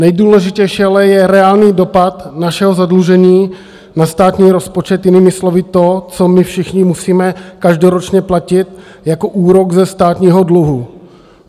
Nejdůležitější ale je reálný dopad našeho zadlužení na státní rozpočet, jinými slovy to, co my všichni musíme každoročně platit jako úrok ze státního dluhu.